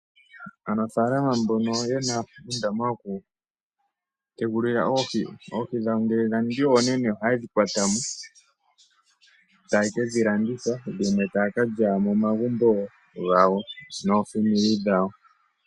Aanafalama mbono yena uundama mbono woku yetekululila oohi dhawo ngele dha ningi oonene ohaye dhi kwata motaye kedhi landitha dhimwe taya kalya momagumbo gawo noofamili dhawo .